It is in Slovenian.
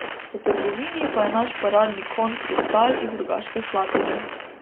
V trgovini pa je naš paradni konj kristal iz Rogaške Slatine.